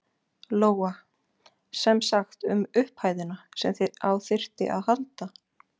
Lóa: Semsagt um upphæðina sem á þyrfti að halda?